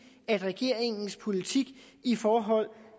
at regeringens politik i forhold